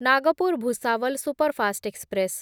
Nagpur Bhusawal superfast express